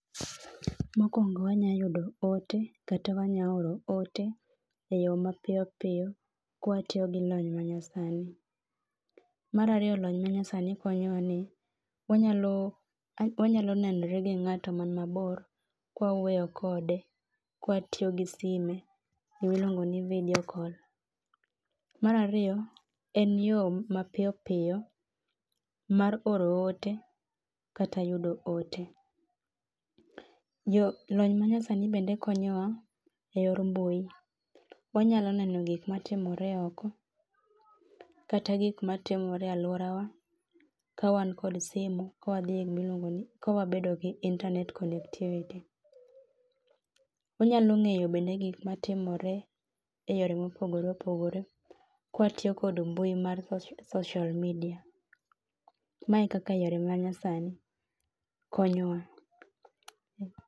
Mokwongo wanya yudo ote kata wanya oro ote e yo mapiyo piyo ka watiyo gi lony ma nyasani. Mar ariyo lony ma nyasani konyowa ni wanyalo nenore gi ng'ato man mabor kwa wawuoyo kode, kwa tiyo gi sime emiluongo ni video call. Mar ariyo en yo mapiyo piyo mar oro ote kata yudo ote. Lony manyasani bende konyowa e yor mbui. Wanyalo neno gik matimore oko kata gik matimore e aluora wa ka wan kod simo ka wabedo gi internet connectivity. Wanyalo ng'eyo bende gik matimore e yore mopogore opogore kwa tiyo kod mbui mar social media. Mae kaka yore ma nyasani konyowa.